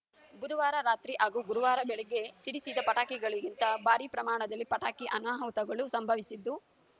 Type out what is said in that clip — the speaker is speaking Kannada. ಬುಧುವಾರ ರಾತ್ರಿ ಹಾಗೂ ಗುರುವಾರ ಬೆಳಗ್ಗೆ ಸಿಡಿಸಿದ ಪಟಾಕಿಗಳಿಂದ ಭಾರಿ ಪ್ರಮಾಣದಲ್ಲಿ ಪಟಾಕಿ ಅನಾಹುತಗಳು ಸಂಭವಿಸಿದ್ದು